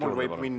Aitüma!